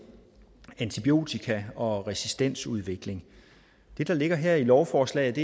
antibiotika og resistensudvikling det der ligger her i lovforslaget